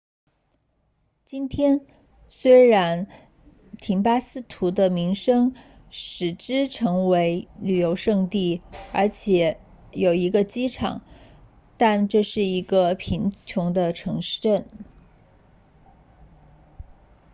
今天虽然廷巴克图的名声使之成为旅游胜地而且有一个机场但这是一个贫穷的城镇